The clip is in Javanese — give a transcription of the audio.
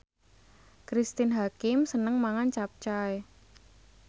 Cristine Hakim seneng mangan capcay